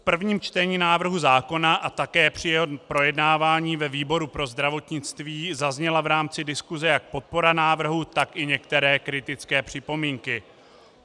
V prvním čtení návrhu zákona a také při jeho projednávání ve výboru pro zdravotnictví zazněla v rámci diskuse jak podpora návrhu, tak i některé kritické připomínky.